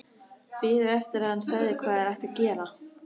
Biðu eftir að hann segði hvað þeir ættu að gera.